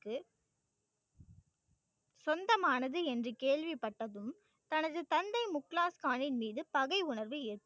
சொந்தமானது என்று கேள்விப்பட்டதும் தனது தந்தை முக்லாஸ்கானின் மீது பகை உணர்வு ஏற்